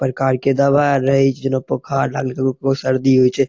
प्रकार के दवा आर रहे छै जना बुखार लागले ककरो ककरो शर्दी होय छै।